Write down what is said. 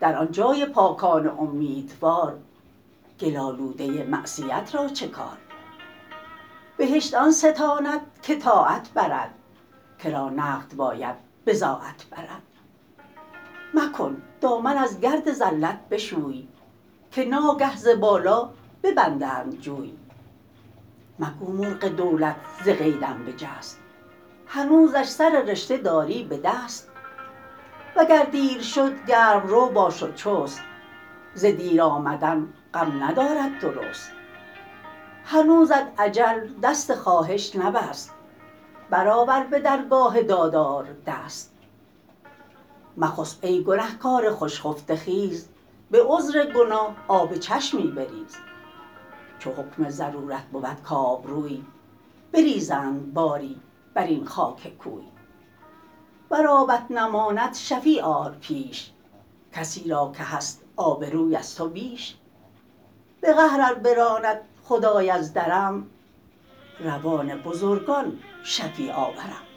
در آن جای پاکان امیدوار گل آلوده معصیت را چه کار بهشت آن ستاند که طاعت برد کرا نقد باید بضاعت برد مکن دامن از گرد زلت بشوی که ناگه ز بالا ببندند جوی مگو مرغ دولت ز قیدم بجست هنوزش سر رشته داری به دست وگر دیر شد گرم رو باش و چست ز دیر آمدن غم ندارد درست هنوزت اجل دست خواهش نبست بر آور به درگاه دادار دست مخسب ای گنه کار خوش خفته خیز به عذر گناه آب چشمی بریز چو حکم ضرورت بود کآبروی بریزند باری بر این خاک کوی ور آبت نماند شفیع آر پیش کسی را که هست آبروی از تو بیش به قهر ار براند خدای از درم روان بزرگان شفیع آورم